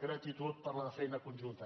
gratitud per la feina conjunta